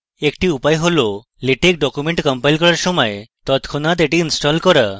একটি উপায় হল latex document কম্পাইল করার সময় তৎক্ষনাৎ এটিকে install করা